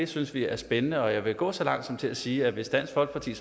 synes vi er spændende og jeg vil gå så langt som til at sige at hvis dansk folkeparti